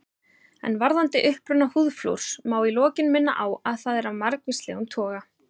En varðandi uppruna húðflúrs má í lokin minna á að það er af margvíslegum toga.